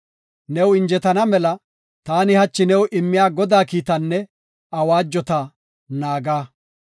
New injetana mela taani hachi new immiya Godaa kiitatanne awaajota naaga.